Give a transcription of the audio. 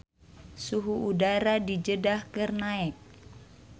Suhu udara di Jeddah keur naek